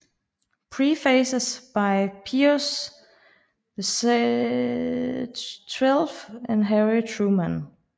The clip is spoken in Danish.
Prefaces by Pius XII and Harry Truman